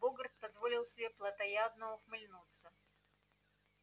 богарт позволил себе плотоядно ухмыльнуться